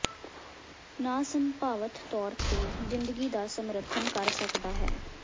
ਨ ਸੰਭਾਵਤ ਤੌਰ ਤੇ ਜ਼ਿੰਦਗੀ ਦਾ ਸਮਰਥਨ ਕਰ ਸਕਦਾ ਹੈ